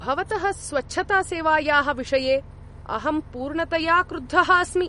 भवतः स्वच्छतासेवायाः विषये अहं पूर्णतया क्रुद्धः अस्मि।